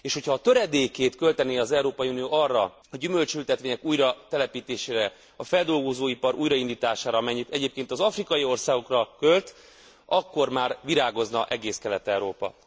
És ha a töredékét költené az Európai Unió a gyümölcsültetvények újratelepítésére, a feldolgozóipar újraindítására annak amit egyébként az afrikai országokra költ, akkor már virágozna egész Kelet Európa!